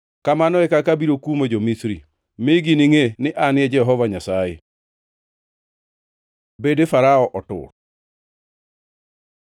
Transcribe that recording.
Kamano e kaka abiro kumo jo-Misri, mi giningʼe ni An e Jehova Nyasaye.’ ” Bede Farao otur